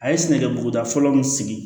A ye sɛnɛkɛ buguda fɔlɔ min sigi